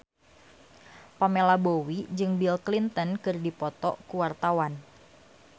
Pamela Bowie jeung Bill Clinton keur dipoto ku wartawan